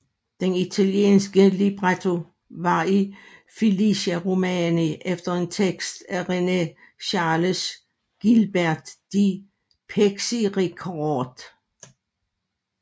Den italienske libretto var af Felice Romani efter en tekst af René Charles Guilbert de Pixérécourt